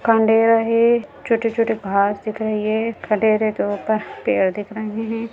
खण्डेर है छोटे-छोटे घास दिख रहे हैं खंडर के ऊपर पेड़ दिख रहे हैं।